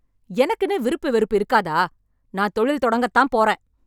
எனக்குன்னு விருப்பு வெறுப்பு இருக்காதா, நான் தொழில் தொடங்கத் தான் போறேன்.